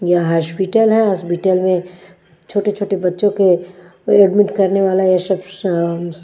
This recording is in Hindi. यह हॉस्पिटल है हॉस्पिटल में छोटे छोटे बच्चों को एडमिट करने वाला ये साब सा--